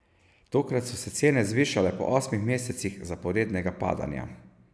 Takrat so se cene zvišale po osmih mesecih zaporednega padanja.